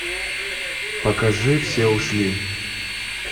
покажи все ушли